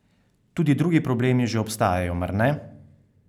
Tudi drugi problemi že obstajajo, mar ne?